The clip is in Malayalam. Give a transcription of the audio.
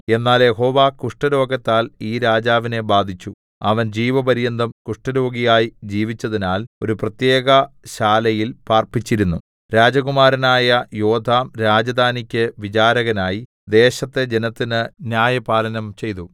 എന്നാൽ യഹോവ കുഷ്ഠരോഗത്താൽ ഈ രാജാവിനെ ബാധിച്ചു അവൻ ജീവപര്യന്തം കുഷ്ഠരോഗിയായി ജീവിച്ചതിനാൽ ഒരു പ്രത്യേകശാലയിൽ പാർപ്പിച്ചിരുന്നു രാജകുമാരനായ യോഥാം രാജധാനിക്ക് വിചാരകനായി ദേശത്തെ ജനത്തിന് ന്യായപാലനം ചെയ്തു